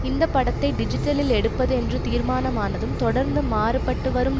இந்த படத்தை டிஜிட்டலில் எடுப்பது என்று தீர்மானம் ஆனதும் தொடர்ந்து மாறுபட்டுவரும்